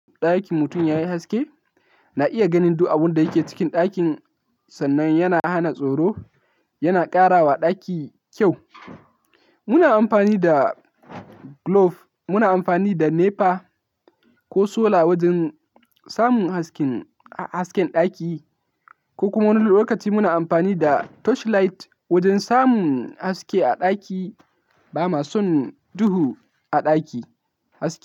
Ɗakin mutum ya yi haske, na iya ganin duk abin da yake cikin ɗakin sannan yana hana tsoro, yana ƙara wa ɗaki kyau. Muna amfani da glove, muna amfani da nepa ko sola wajen samun hasken, hasken ɗaki ko kuma wani lokaci muna amfani da torchlight wajen samun haske a ɗaki, bama son duhu a ɗaki, haske.